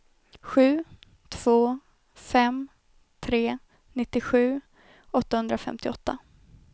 sju två fem tre nittiosju åttahundrafemtioåtta